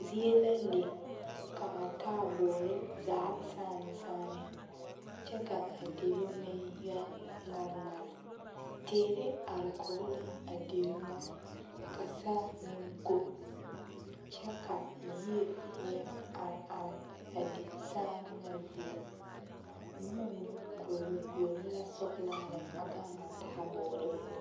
Zie la le k'a taaboore zaa saane saane kyɛ ka a deri meŋ yɛ ŋmare ŋmare, teere are kɔge la a deri ŋa ka saa meŋ ko kyɛ ka yie yɛ are are a de saane ŋa zie boma mine goɔle goɔle la sɔgelaa a gaŋ a taaboore poɔ.